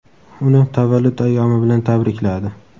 uni tavallud ayyomi bilan tabrikladi.